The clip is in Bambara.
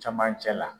Camancɛ la